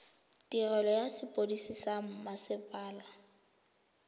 tirelo ya sepodisi sa mmasepala